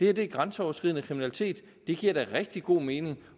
er grænseoverskridende kriminalitet og det giver da rigtig god mening